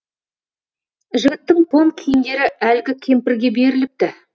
жігіттің тон киімдері әлгі кемпірге беріліпті